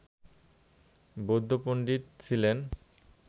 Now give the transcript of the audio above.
বৌদ্ধ পন্ডিত ছিলেন